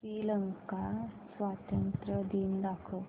श्रीलंका स्वातंत्र्य दिन दाखव